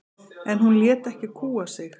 En hún lét ekki kúga sig.